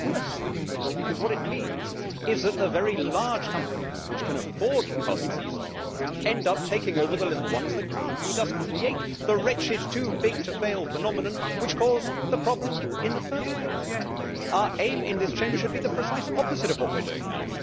it is worse than useless because what it means is that the very large companies, which can afford the costs easily, end up taking up the little ones that cannot. We just create the wretched too big to fail' phenomenon which caused the problem in first place. Our aim in this Chamber should be the precise opposite of what we are doing now